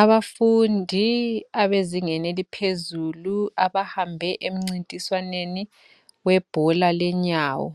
Abafundi abezingeni eliphezulu abahambe emcintiswaneni webhola lenyawo